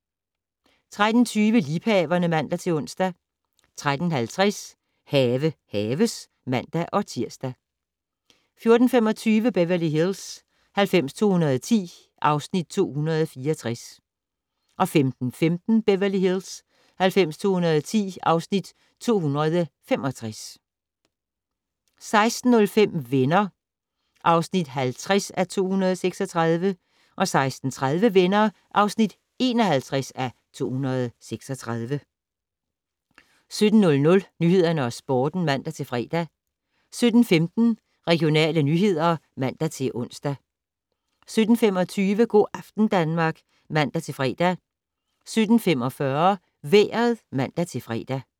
13:20: Liebhaverne (man-ons) 13:50: Have haves (man-tir) 14:25: Beverly Hills 90210 (Afs. 264) 15:15: Beverly Hills 90210 (Afs. 265) 16:05: Venner (50:236) 16:30: Venner (51:236) 17:00: Nyhederne og Sporten (man-fre) 17:15: Regionale nyheder (man-ons) 17:25: Go' aften Danmark (man-fre) 17:45: Vejret (man-fre)